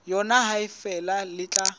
yona ha feela le tla